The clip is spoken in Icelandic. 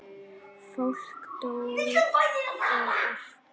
Fólk dó og allt.